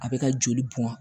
A bɛ ka joli bɔn